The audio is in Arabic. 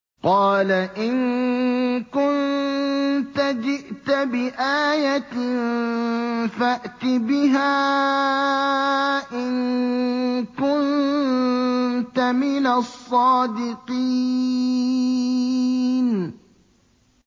قَالَ إِن كُنتَ جِئْتَ بِآيَةٍ فَأْتِ بِهَا إِن كُنتَ مِنَ الصَّادِقِينَ